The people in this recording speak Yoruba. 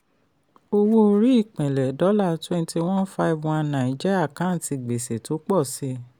owó orí ìpínlè dollar twenty one five one nine jẹ́ àkántì gbèsè tó pọ̀ sí.